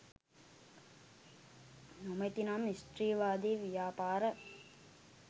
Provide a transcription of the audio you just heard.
නොමැති නම් ස්ත්‍රීවාදී ව්‍යාපාර